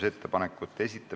Istungi lõpp kell 11.05.